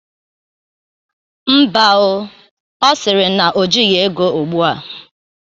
Mba o, ọ siri na o jighi ego ugbu a.